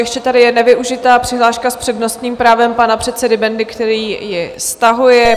Ještě tady je nevyužitá přihláška s přednostním právem pana předsedy Bendy, který ji stahuje.